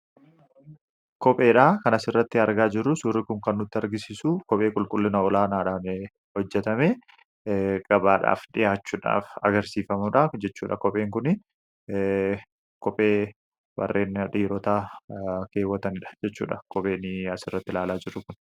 kopheedhaa kana asirratti argaa jiru. Suurri kun kan nutti argisiisu kophee qulqullina olaanaadhaan hojjetame gabaadhaaf dhihaachuudhaaf agarsiifamuudha, jechuudha kopheen kun; kophee warreen dhiirotaa keewwataniidha jechuudha kopheen as irratti ilaalaa jiru kun.